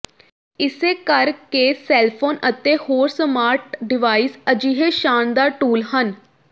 ਇਸੇ ਕਰਕੇ cell phone ਅਤੇ ਹੋਰ ਸਮਾਰਟ ਡਿਵਾਈਸ ਅਜਿਹੇ ਸ਼ਾਨਦਾਰ ਟੂਲ ਹਨ